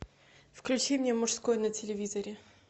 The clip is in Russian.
включи мне мужской на телевизоре